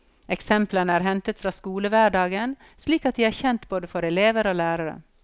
Eksemplene er hentet fra skolehverdagen slik at de er kjente både for elever og lærere.